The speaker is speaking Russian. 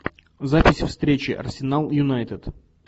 записи встречи арсенал юнайтед